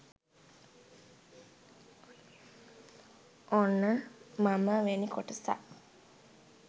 ඔන්න මම වෙනි කොටසත්